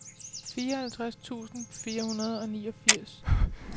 fireoghalvtreds tusind fire hundrede og niogfirs